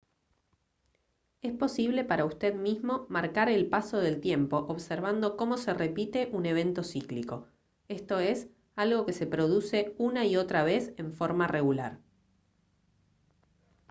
es posible para usted mismo marcar el paso del tiempo observando cómo se repite un evento cíclico esto es algo que se produce una y otra vez en forma regular